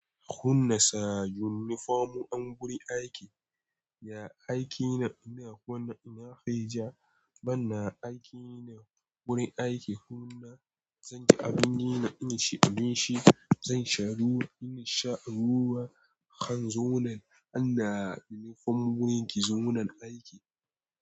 Hunna sa yunifomu an buri ake. Ya aiki nan ina kwana ina kai ja, banna aiki nan wurin aiki hunna zanyi abin da ina shi abinshi zan sha ruwa ina sha ruwa kan zonan anda yunifomu wurin ki zonan aiki.